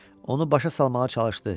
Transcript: Onu başa salmağa çalışdı.